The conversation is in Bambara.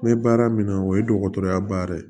N bɛ baara min na o ye dɔgɔtɔrɔya baara ye